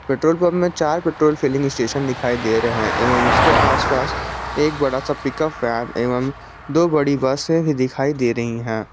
Petrol pump में चार petrol filling station दिखाई दे रहे हैं एवं उसके आसपास एक बड़ा सा पिकअप वैन एवं दो बड़ी बसे भी दिखाई दे रही हैं।